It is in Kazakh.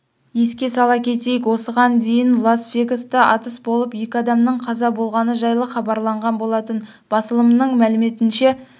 еске сала кетейік осыған дейінлас-вегаста атыс болып екі адамның қаза болғаны жайлы хабарланған болатын басылымының мәліметінше